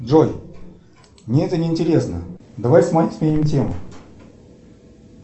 джой мне это неинтересно давай сменим тему